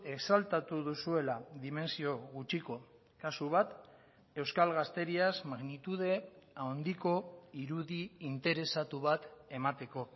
exaltatu duzuela dimentsio gutxiko kasu bat euskal gazteriaz magnitude handiko irudi interesatu bat emateko